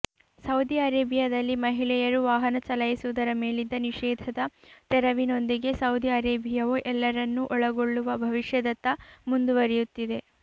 Saudi ಅರೇಬಿಯದಲ್ಲಿ ಮಹಿಳೆಯರು ವಾಹನ ಚಲಾಯಿಸುವುದರ ಮೇಲಿದ್ದ ನಿಷೇಧದ ತೆರವಿನೊಂದಿಗೆ ಸೌದಿ ಅರೇಬಿಯವು ಎಲ್ಲರನ್ನೂ ಒಳಗೊಳ್ಳುವ ಭವಿಷ್ಯದತ್ತ ಮುಂದುವರಿಯುತ್ತಿದೆ